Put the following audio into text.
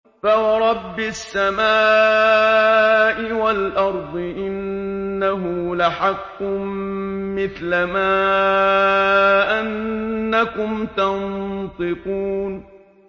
فَوَرَبِّ السَّمَاءِ وَالْأَرْضِ إِنَّهُ لَحَقٌّ مِّثْلَ مَا أَنَّكُمْ تَنطِقُونَ